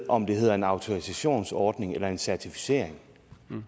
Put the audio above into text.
om det hedder en autorisationsordning eller en certificering